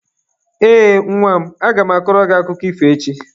Ee, nwa m. Aga m akọrọ gị akụkọ ifo echi.